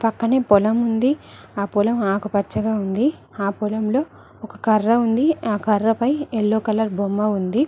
పక్కనే పొలం ఉంది ఆ పొలం ఆకు పచ్చగా ఉంది ఆ పొలంలో ఒక కర్ర ఉంది ఆ కర్రపై ఎల్లో కలర్ బొమ్మ ఉంది.